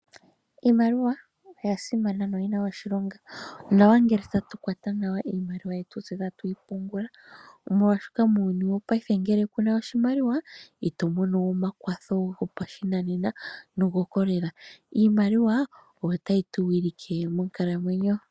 Iimaliwa oya simana noyi na oshilonga, onawa ngele tatu kwata nawa iimaliwa yetu tse tatu yi pungula. Omolwashoka, muuyuni wopayife ngele ku na oshimaliwa, ito mono omakwatho go pashinanena nogo kolela. Iimaliwa oyo tayi tu wilike monkalamwenyo.